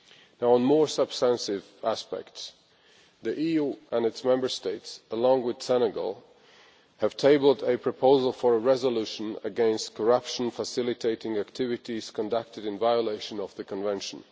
Now on more substantive aspects. The EU and its Member States, along with Senegal, have tabled a proposal for a resolution against corruption facilitating activities conducted in violation of the Convention.